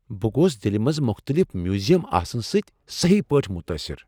بہٕ گوس دلہ منز مختلف میوزیم آسنہٕ سٕتۍ سہی پٲٹھۍ متاثر۔